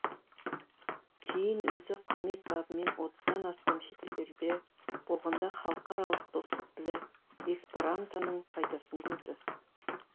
кейін өзі қызмет бабымен отыздан астам шетелдерде болғанда халықаралық достық тілі эсперантоның пайдасын көрді